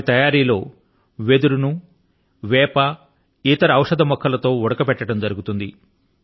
వాటి తయారీ లో వెదురు ను మొదట వేప మొక్కల తోను ఇతర ఔషధ మొక్కల తోను ఉడకబెట్టడం జరుగుతుంది